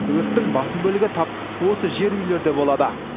өрттің басым бөлігі тап осы жер үйлерде болады